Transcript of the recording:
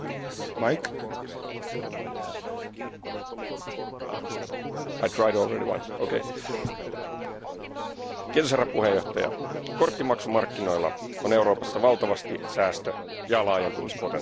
Arvoisa puhemies, korttimaksumarkkinoilla on Euroopassa valtavasti säästö ja laajentumispotentiaalia, mobiili ja Internet maksuista puhumattakaan. Tuen komission näkemystä siitä,